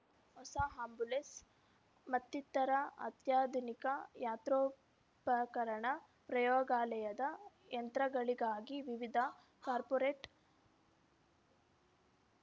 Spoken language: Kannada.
ಹೊಸ ಆಂಬ್ಯುಲೆನ್ಸ್‌ ಮತ್ತಿತರ ಅತ್ಯಾಧುನಿಕ ಯಂತ್ರೋಪಕರಣ ಪ್ರಯೋಗಾಲಯದ ಯಂತ್ರಗಳಿಗಾಗಿ ವಿವಿಧ ಕಾರ್ಪೋರೇಟ್‌